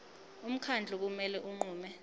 umkhandlu kumele unqume